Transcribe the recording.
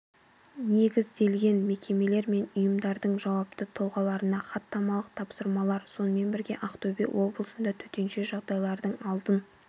негізделген мекемелер мен ұйымдардың жауапты тұлғаларына хаттамалық тапсырмалар сонымен бірге ақтөбе облысында төтенше жағдайлардың алдын